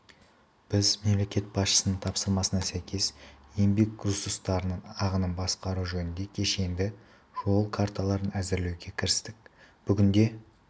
біз мемлекет басшысының тапсырмасына сәйкес еңбек ресурстарының ағынын басқару жөнінде кешенді жол карталарын әзірлеуге кірістік бүгінде